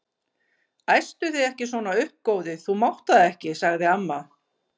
Æstu þig ekki svona upp góði, þú mátt það ekki sagði amma.